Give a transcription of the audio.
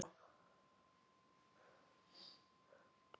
Þar stansaði hún og horfði einkennilega á þá.